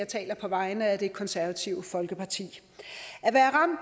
taler på vegne af det konservative folkeparti